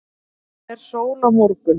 er sól á morgun